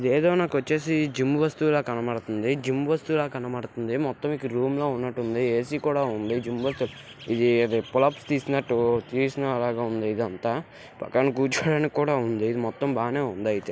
ఇదేదో నాకు వచ్చేసి జిమ్ వస్తువుల కనబడుతుంది. జిమ్ వస్తువుల కనబడుతుంది. మొత్తం ఇక్కడ రూమ్ లో ఉన్నట్టు ఉంది.ఏ_సీ కూడా ఉంది. ఇది తీసినట్టు తీసిన లాగా ఉంది. ఇది అంతా పక్కన కూర్చోడానికి కూడా ఉంది. ఇది మొత్తం బానే ఉందయితే.